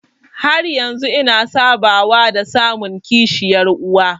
Har yanzu ina sabawa da samun kishiyar uwa.